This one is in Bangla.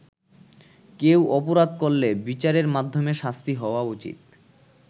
কেউ অপরাধ করলে বিচারের মাধ্যমে শাস্তি হওয়া উচিত।